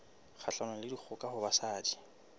kgahlanong le dikgoka ho basadi